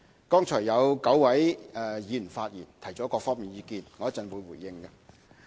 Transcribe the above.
剛才有9位議員發言提出了各方面的意見，我稍後會回應。